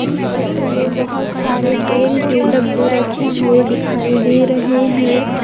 इस चित्र में बहोत सारे तेल के डब्बे रखे हुए दिखाई दे रहे है।